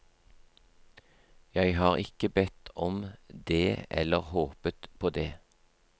Jeg har ikke bedt om det eller håpet på det.